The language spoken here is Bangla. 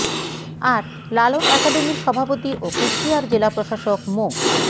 আর লালন একাডেমির সভাপতি ও কুষ্টিয়ার জেলা প্রশাসক মো